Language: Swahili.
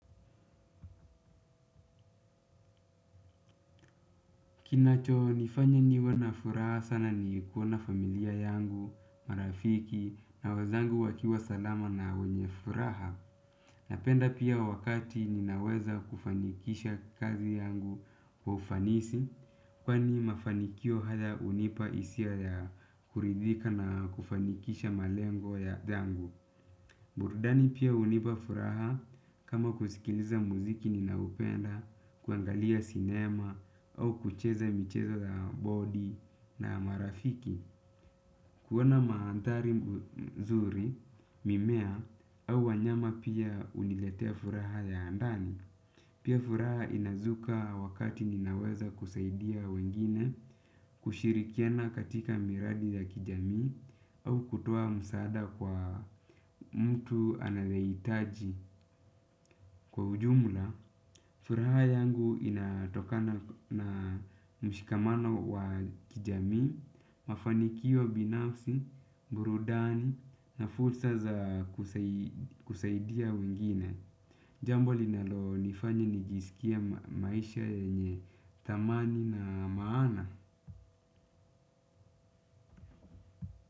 Kinachonifanya niwe na furaha sana ni kuona familia yangu, marafiki, na wazangu wakiwa salama na wenye furaha. Napenda pia wakati ninaweza kufanikisha kazi yangu wa ufanisi, kwani mafanikio haya unipa isia ya kuridhika na kufanikisha malengo ya dhangu. Burdani pia hunipa furaha kama kusikiliza muziki ninaoupenda, kuangalia sinema au kucheza michezo za bodi na marafiki. Kuoana maandhari mzuri, mimea au wanyama pia uniletea furaha ya ndani. Pia furaha inazuka wakati ninaweza kusaidia wengine kushirikiana katika miradi ya kijami au kutoa msaada kwa mtu anayeitaji kwa ujumla. Furaha yangu inatokana na mshikamano wa kijami, mafanikio binafsi, burudani na fursa za kusaidia wengine. Jambo linalonifanya nijisikie maisha yenye thamani na maana.